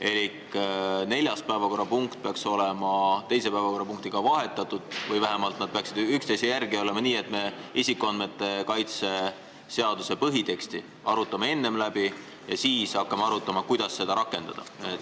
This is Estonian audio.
Elik 4. päevakorrapunkt peaks olema 2. päevakorrapunktiga vahetatud või vähemalt nad peaksid olema üksteise järel nii, et me isikuandmete kaitse seaduse põhiteksti arutaks enne läbi ja siis hakkaksime arutama, kuidas seda rakendada.